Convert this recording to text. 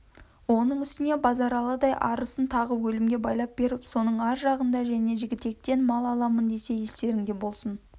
оның үстіне базаралыдай арысын тағы өлімге байлап беріп соның ар жағында және жігітектен мал аламын десе естерінде болсын